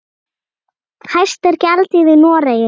Hæst er gjaldið í Noregi.